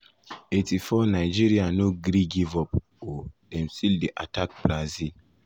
84’ nigeria no gree give up o dem still dey attack brazil.